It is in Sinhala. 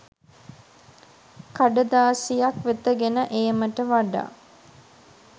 කඩදාසියක් වෙත ගෙන ඒමට වඩා